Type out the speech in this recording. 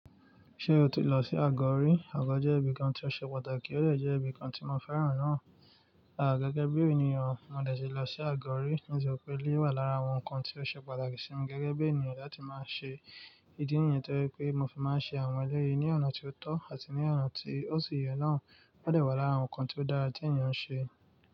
Ṣé o ti lọ sí Àgọ́rí? Àgọ́ jẹ́ ibìkan tí ó ṣe pàtàkì, ó dè jẹ́ ibìkan tí mo fẹ́ràn náà. Gẹ́gẹ́ bí ènìyàn, mo dẹ̀ síì lọ sí Àgọ́rí, nítori pe eléyii wà lára àwọn nnkan tí ó ṣe pàtàkì sí mi gẹ́gẹ́ bí ènìyàn láti máa ṣe ìdí nìyẹn toje pé mo fi máa ń ṣe àwọn ẹlẹ́yì ní ọ̀nà tí ó tọ́ àti ní ọ̀nà tí ó sì yẹ náà. Ó dè wà lára àwọn nnkan tí ó dára tí ènìyàn ń ṣe.